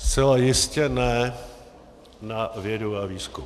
Zcela jistě ne na vědu a výzkum.